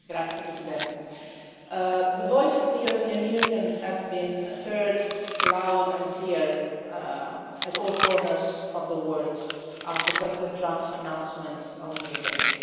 Mr President, the voice of the European Union has been heard loud and clear in all corners of the word after President Trump's announcement on Jerusalem.